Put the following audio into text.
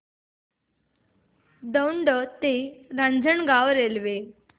दौंड ते रांजणगाव रेल्वे